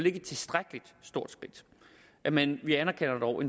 ikke et tilstrækkelig stort skridt men men vi anerkender dog at